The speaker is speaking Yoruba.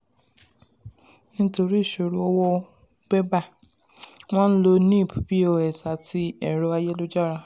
nítorí ìṣòro owó bébà wọ́n ń lo nip pos àti ẹ̀rọ ayélujára.